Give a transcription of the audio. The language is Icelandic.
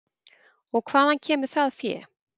Og hvaðan kemur það fé?